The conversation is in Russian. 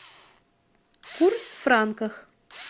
курс в франках